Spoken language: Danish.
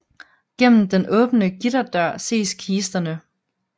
Gennem den åbne gitterdør ses kisterne